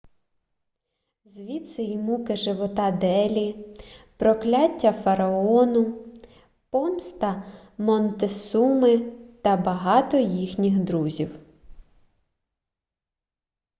звідси і муки живота делі прокляття фараону помста монтесуми та багато їхніх друзів